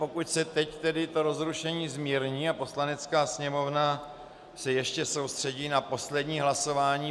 Pokud se teď tedy to rozrušení zmírní a Poslanecká sněmovna se ještě soustředí na poslední hlasování.